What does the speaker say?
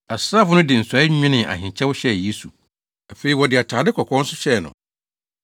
Asraafo no de nsɔe nwenee ahenkyɛw hyɛɛ Yesu; afei, wɔde atade kɔkɔɔ nso hyɛɛ no.